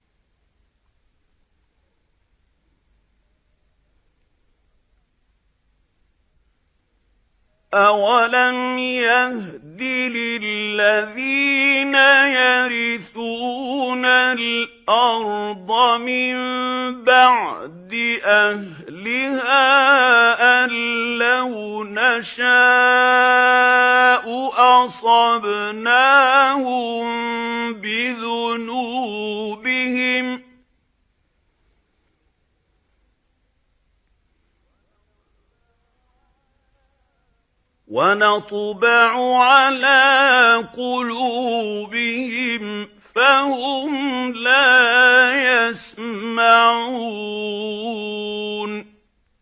أَوَلَمْ يَهْدِ لِلَّذِينَ يَرِثُونَ الْأَرْضَ مِن بَعْدِ أَهْلِهَا أَن لَّوْ نَشَاءُ أَصَبْنَاهُم بِذُنُوبِهِمْ ۚ وَنَطْبَعُ عَلَىٰ قُلُوبِهِمْ فَهُمْ لَا يَسْمَعُونَ